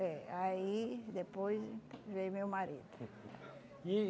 É, aí depois veio meu marido. E